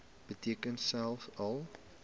beteken selfs al